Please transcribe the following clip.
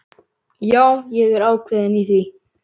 Já, ég er ákveðinn í því.